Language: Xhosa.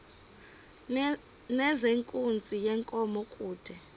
nezenkunzi yenkomo kude